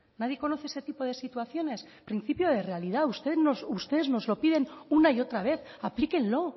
nadie conoce este tipo de situaciones principio de realidad ustedes nos lo piden una y otra vez aplíquenlo